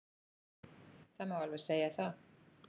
Það má alveg segja það.